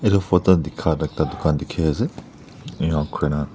etu photo dikha ekta dukan dikhi ase enka kuri na.